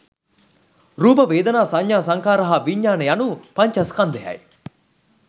රූප, වේදනා, සඤ්ඤා, සංඛාර හා විඤ්ඤාණ යනු පඤ්චස්කන්ධයයි.